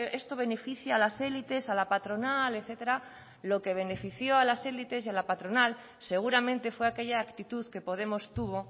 esto beneficia a las élites a la patronal etcétera lo que benefició a las élites y a la patronal seguramente fue aquella actitud que podemos tuvo